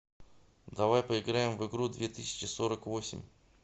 давай поиграем в игру две тысячи сорок восемь